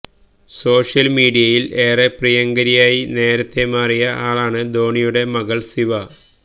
സോഷ്യല്മീഡിയയില് ഏറെ പ്രിയങ്കരിയായി നേരത്തേ മാറിയ ആളാണ് ധോണിയുടെ മകള് സിവ